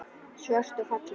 Svört og falleg.